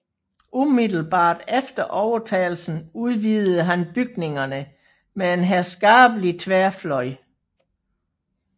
Umiddelbart efter overtagelsen udvidede han bygningerne med en herskabelig tværfløj